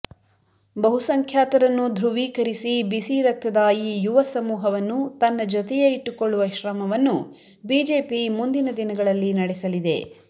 ಬಹುಸಂಖ್ಯಾತರನ್ನು ಧ್ರುವೀಕರಿಸಿ ಬಿಸಿರಕ್ತದ ಈ ಯುವಸಮೂಹವನ್ನು ತನ್ನ ಜೊತೆಯೇ ಇಟ್ಟುಕೊಳ್ಳುವ ಶ್ರಮವನ್ನು ಬಿಜೆಪಿ ಮುಂದಿನ ದಿನಗಳಲ್ಲಿ ನಡೆಸಲಿದೆ